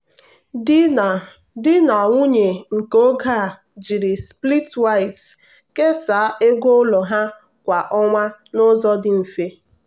di na di na nwunye nke oge a jiri splitwise kesaa ego ụlọ ha kwa ọnwa n'ụzọ dị mfe.